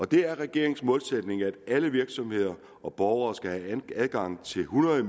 det er regeringens målsætning at alle virksomheder og borgere skal have adgang til hundrede